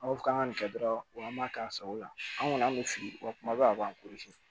Aw k'an ka nin kɛ dɔrɔn wa an b'a k'a sago la an kɔni an bɛ fili wa kuma bɛɛ a b'an